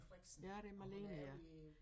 Ja det Malene ja